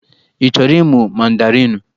Ị chọrọ ịmụ Mandarinụ?